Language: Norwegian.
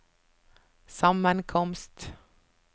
sammenkomst